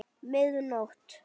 Mið nótt!